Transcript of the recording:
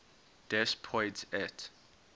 des poids et